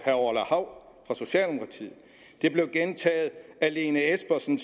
hav fra socialdemokratiet det blev gentaget af lene espersen